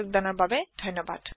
যোগ দিয়াৰ বাবে ধণ্যবাদ